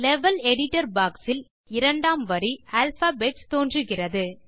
level editor box இல் இரண்டாம் வரி ஆல்பாபெட்ஸ் தோன்றுகிறது